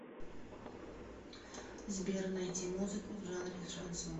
сбер найти музыку в жанре шансон